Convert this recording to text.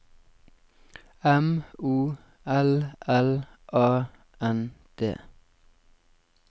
M O L L A N D